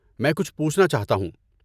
میں کچھ پوچھنا چاہتا ہوں۔